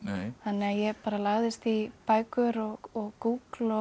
þannig að ég bara lagðist í bækur og